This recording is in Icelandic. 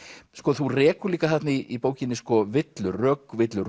þú rekur líka þarna í bókinni sko villur rökvillur